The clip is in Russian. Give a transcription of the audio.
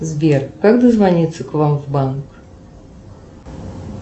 сбер как дозвониться к вам в банк